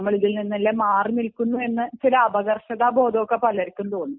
നമ്മൾ ഇതില്നിന്നൊക്കെ മാറി നിൽക്കുന്നു എന്ന് അപകർഷതാ ബോധം പലർക്കും തോന്നുന്നു